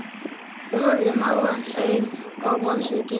Við horfðum á hann aum og vonsvikin.